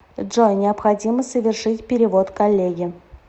джой необходимо совершить перевод коллеге